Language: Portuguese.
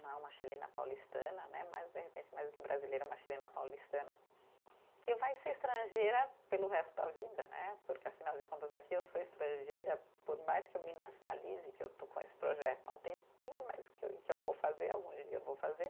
Não é uma chilena paulistana né, mas de repente mais do que brasileira, uma chilena paulistana, que vai ser estrangeira pelo resto da vida né, porque afinal de contas aqui eu sou estrangeira, por mais que eu me nacionalize, que eu estou com esse projeto há um tempinho, mas que eu, eu vou fazer, algum dia eu vou fazer.